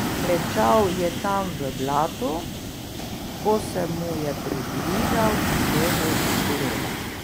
Klečal je tam v blatu, ko se mu je približal Edo Turoba.